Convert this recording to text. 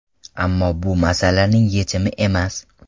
Ammo bu masalaning yechimi emas.